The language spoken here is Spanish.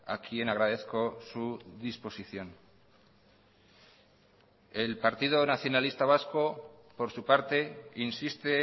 a quien agradezco su disposición el partido nacionalista vasco por su parte insiste